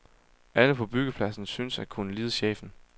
Alle på byggepladsen synes at kunne lide chefen.